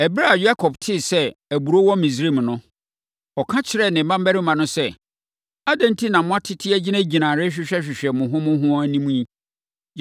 Ɛberɛ a Yakob tee sɛ aburoo wɔ Misraim no, ɔka kyerɛɛ ne mmammarima no sɛ, “Adɛn enti na moatete agyinagyina rehwehwɛhwehwɛ mo ho mo ho anim yi?”